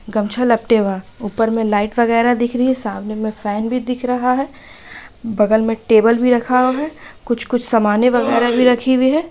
गौछा लपटे बा उपर लाइट वगैर दिख रही है सामने मे फ़ैन भी दिख रहा है बगल मे टेबल भी रखा है कुछ-कुछ सामने वगैरा रखेहु ई है।